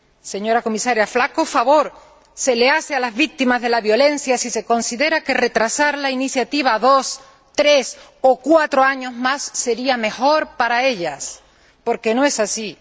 Señora Comisaria, flaco favor se les hace a las víctimas de la violencia si se considera que retrasar la iniciativa dos, tres o cuatro años más sería mejor para ellas, porque no es así.